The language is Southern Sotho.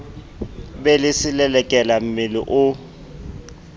be le selelekela mmele o